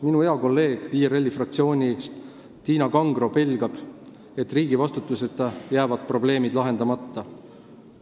Minu hea kolleeg IRL-i fraktsioonist Tiina Kangro pelgab, et riigi vastutuseta jäävad probleemid lahendamata.